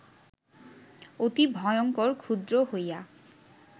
অতি ভয়ঙ্কর-ক্ষুদ্র হইয়া